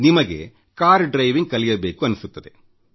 ನಿಮಗೆ car driving ಕಲಿಯಬೇಕೆನ್ನಿಸುತ್ತದೆ